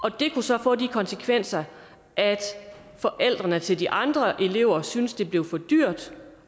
og det kunne så få de konsekvenser at forældrene til de andre elever syntes det blev for dyrt